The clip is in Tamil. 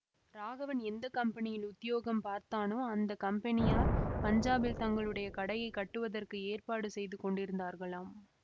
ராகவன் எந்த கம்பெனியில் உத்தியோகம் பார்த்தானோ அந்த கம்பெனியார் பஞ்சாபில் தங்களுடைய கடையைக் கட்டுவதற்கு ஏற்பாடு செய்து கொண்டிருந்தார்களாம்